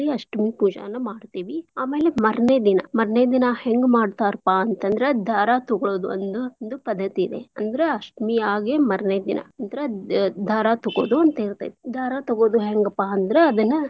ಅಷ್ಟಮಿ ಪೂಜೆ ಮಾಡ್ತೇವಿ. ಆಮೇಲೆ ಮಾರ್ನೆ ದಿನಾ, ಮಾರ್ನೆ ದಿನಾ ಹೆಂಗ್ ಮಾಡ್ತಾರ್ಪಾ ಅಂತಂದ್ರ ದಾರಾ ತಗೋಳೋದು ಒಂದ್ ಒಂದು ಪದ್ದತಿ ಇದೆ ಅಂದ್ರ ಅಷ್ಟಮಿ ಆಗೇ ಮಾರ್ನೆ ದಿನಾ ಅಂದ್ರ ದಾರಾ ತಗೋದು ಅಂತ್ತೀರ್ತೇತ್. ದಾರಾ ತಗೋದು ಹೆಂಗ್ಪಾ ಅಂದ್ರ.